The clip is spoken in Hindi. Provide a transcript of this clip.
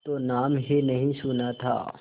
तो नाम ही नहीं सुना था